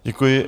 Děkuji.